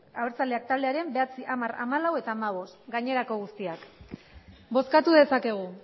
abertzaleak taldearen bederatzi hamar hamalau eta hamabost gainerako guztiak bozkatu dezakegu